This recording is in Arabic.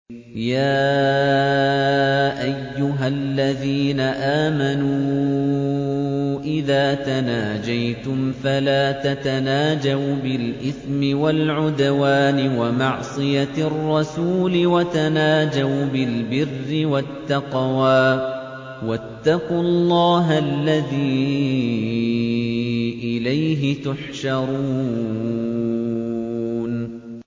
يَا أَيُّهَا الَّذِينَ آمَنُوا إِذَا تَنَاجَيْتُمْ فَلَا تَتَنَاجَوْا بِالْإِثْمِ وَالْعُدْوَانِ وَمَعْصِيَتِ الرَّسُولِ وَتَنَاجَوْا بِالْبِرِّ وَالتَّقْوَىٰ ۖ وَاتَّقُوا اللَّهَ الَّذِي إِلَيْهِ تُحْشَرُونَ